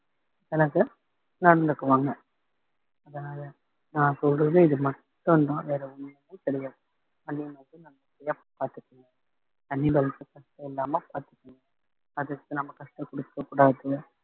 நடந்துக்குவாங்க அதனால நான் சொல்றது இது மட்டும்தான் வேற ஒண்ணுமே கிடையாது animals அ நல்லபடியா பாத்துக்கோங்க கஷ்டம் இல்லாம பாத்துக்கோங்க அதுக்கு நம்ம கஷ்டகுடுக்க கூடாது